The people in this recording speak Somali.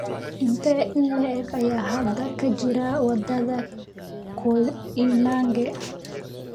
intee in le'eg ayaa hadda ka jira wadada koinange?